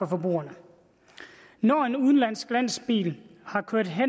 forbrugerne når en udenlandsk lastbil har kørt